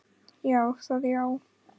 Já, það já.